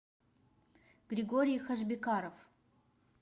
григорий хашбекаров